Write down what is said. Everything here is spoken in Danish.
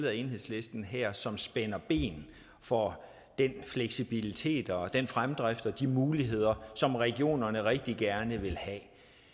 af enhedslisten her som spænder ben for den fleksibilitet og den fremdrift og de muligheder som regionerne rigtig gerne vil have